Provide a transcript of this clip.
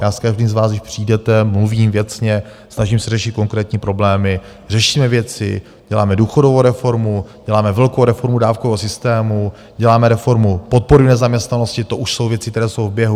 Já s každým vás, když přijdete, mluvím věcně, snažím se řešit konkrétní problémy, řešíme věci, děláme důchodovou reformu, děláme velkou reformu dávkového systému, děláme reformu podpory v nezaměstnanosti, to už jsou věci, které jsou v běhu.